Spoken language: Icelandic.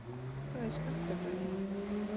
Hvað er skammtafræði?